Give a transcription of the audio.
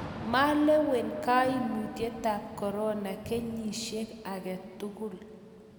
malewen kaimutietab korona kenyisiek age tugul